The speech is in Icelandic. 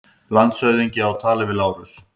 Landshöfðingi á tali við Lárus.